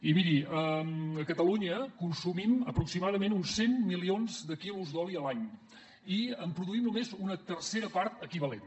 i miri a catalunya consumim aproximadament uns cent milions de litres d’oli a l’any i en produïm només una tercera part equivalent